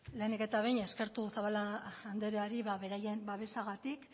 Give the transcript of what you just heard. lehenik eta behin eskertu zabala andreari beraien babesagatik